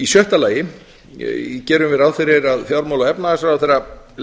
í sjötta lagi gerum við ráð fyrir að fjármála og efnahagsráðherra